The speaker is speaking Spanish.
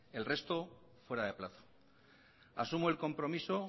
el resto fuera de plazo asumo el compromiso